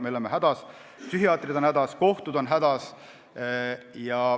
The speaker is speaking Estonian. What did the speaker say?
Meie oleme hädas, psühhiaatrid on hädas, kohtud on hädas.